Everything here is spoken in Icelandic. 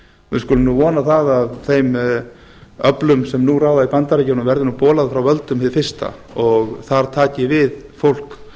við skulum nú vona að þeim öflum sem nú ráða í bandaríkjunum verði nú bolað frá völdum hið fyrsta og þar taki við fólk